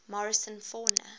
morrison fauna